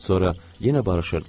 Sonra yenə barışırdılar.